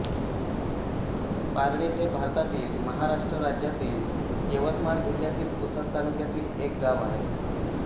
पारडी हे भारतातील महाराष्ट्र राज्यातील यवतमाळ जिल्ह्यातील पुसद तालुक्यातील एक गाव आहे